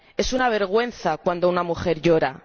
Es una vergüenza cuando una mujer llora.